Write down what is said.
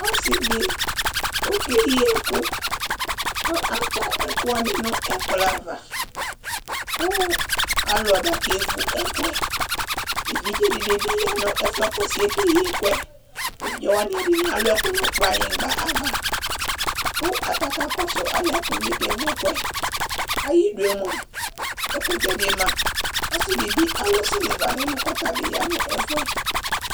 Ɔsiɛɖi ɔkɛyii ɛkʋ kʋ atɛ ɛkʋwani n'ɛkplɔava kʋ alʋ aba k'evu ɛkʋɛEvidzeɖini biyaa nʋ ɛfuɛ kʋ ɔsiɛ k'eyii ɛkʋɛEvidzebi yaa n'ɛfuɛ Evidzeɖini alʋ kplanyigba ava kʋ atani kakɔsʋ alɛnɛ kʋ ʋviɛ k'ɛvu ɛkʋɛAyiɖʋe moa, ɛkʋtɛɖi maaɔsiɖibi alʋ siliva n'ɛlʋ k'ɔtabi yaa n'ɛfuɛ